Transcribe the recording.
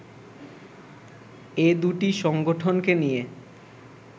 এ দুটি সংগঠনকে নিয়ে